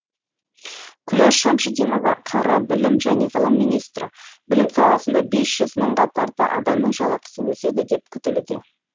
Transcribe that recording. күләш шәмшидинова қр білім және ғылым министрі білім саласында бес жүз мыңға тарта адамның жалақысы өседі деп күтілуде